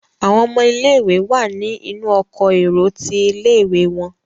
àwọn ọmọ ilé ìwé wá ní inú Ọkọ̀ èrò tí ilé-ìwé wón.